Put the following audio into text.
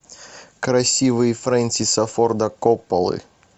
красивые фрэнсиса форда копполы